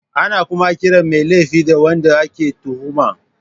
Ana kuma kiran mai laifin da wanda ake tuhuma.